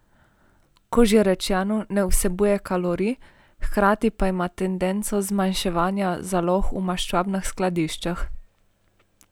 Kot že rečeno ne vsebuje kalorij, hkrati pa ima tendenco zmanjševanja zalog v maščobnih skladiščih.